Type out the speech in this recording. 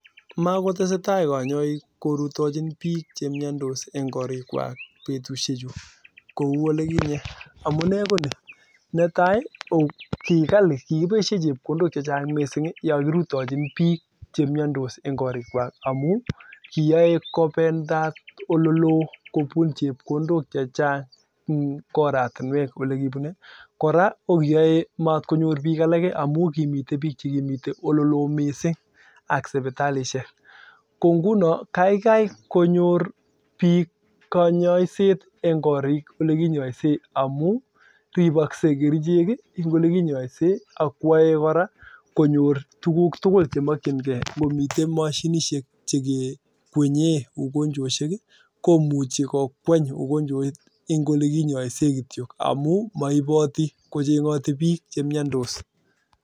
Makotesetai konyoik korutochin bik chemnyandos amuu ko ni netai ko kibaishei chepkondok chechang' yakirutochin bik chemnyandos eng korik kwak amuu kimakonyoruu bik tugul ko nguno kaikai konyor bik kanyosiet eng korik kwak amuu ripasei kerichek ii a komitei tuguk tukul yotok